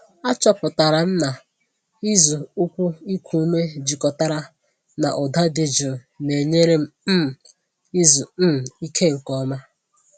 Achọpụtara m na ịzụ ụkwụ iku ume jikọtara na ụda dị jụụ na-enyere m um izu um ike nke ọma.